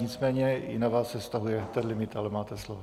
Nicméně i na vás se vztahuje ten limit, ale máte slovo.